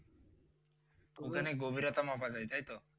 ওখানে গভীরতা মাপা যায় তাই তো?